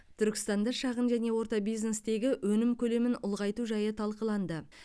түркістанда шағын және орта бизнестегі өнім көлемін ұлғайту жайы талқыланды